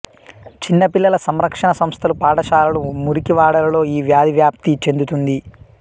చిన్నపిల్లల సంరక్షణ సంస్థలు పాఠశాలలు మురికి వాడలలో ఈ వ్యాధి వ్యాప్తి చెందుతుంది